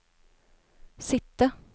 sitte